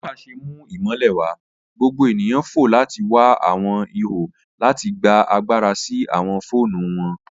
Bi NEPA ṣe mu imọlẹ wa, gbogbo eniyan fo lati wa awọn iho lati gba agbara si awọn foonu wọn.